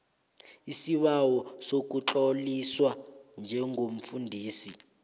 isibawo sokutloliswa njengomfundisi